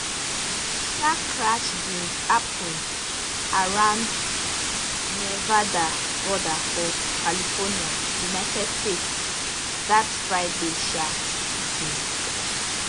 di um crash bin happun around nevada border for california united states dat friday um evening